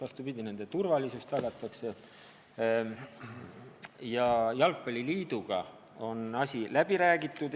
Vastupidi, nende turvalisus tagatakse ja jalgpalliliiduga on asi läbi räägitud.